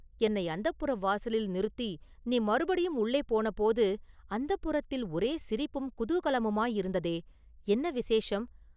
என்னை அந்தப்புர வாசலில் நிறுத்தி நீ மறுபடியும் உள்ளே போன போது, அந்தப்புரத்தில் ஒரே சிரிப்பும் குதூகலமுமாயிருந்ததே, என்ன விசேஷம்?